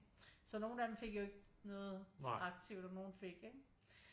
Så nogle af dem fik jo ikke noget aktivt og nogle fik ikke